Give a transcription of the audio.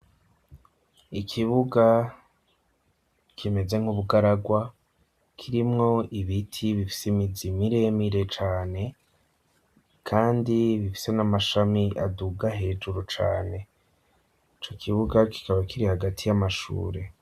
Ikibuga kimeze nk'ubugaragwa kirimwo ibiti bifise imizi miremire cane kandi bifise n'amashami aduga hejuru cane, ico kibuga kikaba kiri hagati y'amashure.